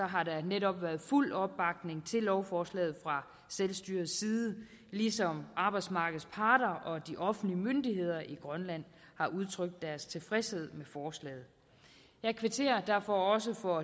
har der netop været fuld opbakning til lovforslaget fra selvstyrets side ligesom arbejdsmarkedets parter og de offentlige myndigheder i grønland har udtrykt deres tilfredshed med forslaget jeg kvitterer derfor også for